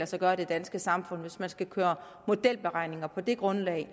sig gøre i det danske samfund hvis man skal køre modelberegninger på det grundlag